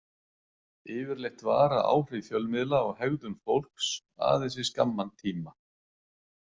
Yfirleitt vara áhrif fjölmiðla á hegðun fólks aðeins í skamman tíma.